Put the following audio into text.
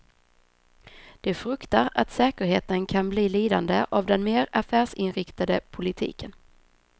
De fruktar att säkerheten kan bli lidande av den mer affärsinriktade politiken.